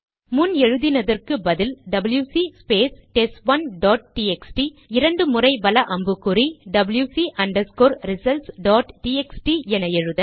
முன்பு எழுதினதற்கு பதில் WC space test 1 dot TXT இரண்டு முறைவல அம்புக்குறி WC underscore results dot TXT என எழுத